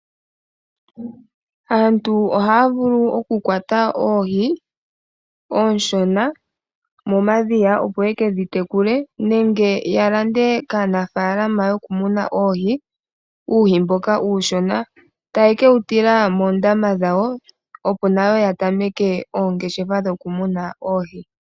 Aantu ohaya vulu okukwata oohi oonshona momadhiya opo yeke dhi tekule, nenge ya lande kaanafalama yokumuna uuhi mboka uushona, eta ye dhi tila moondama dhawo opo nayo yatameke oongeshefa dhokumuna oohi.